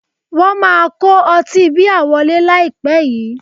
Wọ́n máa kó ọtí bíà wọlé láìpẹ́ yìí